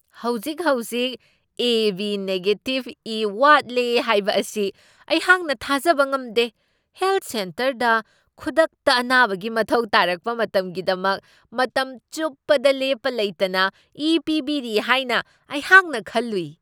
ꯍꯧꯖꯤꯛ ꯍꯧꯖꯤꯛ A B negative ꯏ ꯋꯥꯠꯂꯦ ꯍꯥꯏꯕ ꯑꯁꯤ ꯑꯩꯍꯥꯛ ꯊꯥꯖꯕ ꯉꯝꯗꯦ꯫ ꯍꯦꯜꯊ ꯁꯦꯟꯇꯔꯗ ꯈꯨꯗꯛꯇ ꯑꯅꯥꯕꯒꯤ ꯃꯊꯧ ꯇꯥꯔꯛꯄ ꯃꯇꯝꯒꯤꯗꯃꯛ ꯃꯇꯝ ꯆꯨꯞꯄꯗ ꯂꯦꯞꯄ ꯂꯩꯇꯅ ꯏ ꯄꯤꯕꯤꯔꯤ ꯍꯥꯏꯅ ꯑꯩꯍꯥꯛꯅ ꯈꯜꯂꯨꯏ ꯫